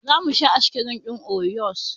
Zamu sha askirim ɗin oriyos